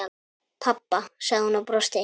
Pabba? sagði hún og brosti.